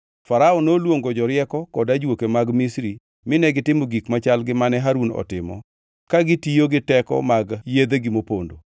Farao noluongo jorieko kod ajuoke mag Misri mine gitimo gik machal gi mane Harun otimo ka gitiyo gi teko mag yedhegi mopondo.